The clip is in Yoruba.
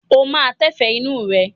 Ó máa tẹ́fẹ̀ẹ́ inú rẹ?